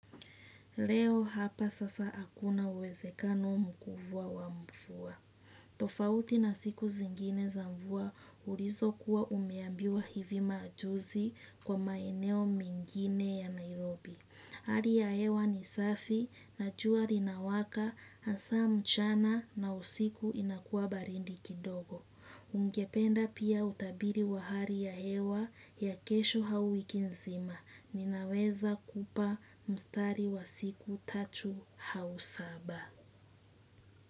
Leo hapa sasa hakuna uwezekano mkubwa wa mvua. Tofauti na siku zingine za mvua ulizokuwa umeambiwa hivi majuzi kwa maeneo mingine ya Nairobi. Hali ya hewa ni safi na jua linawaka hasa mchana na usiku inakuwa baridi kidogo. Ningependa pia utabiri wa hali ya hewa ya kesho au wikin zima. Ninawezakupa mstari wa siku tatu au saba.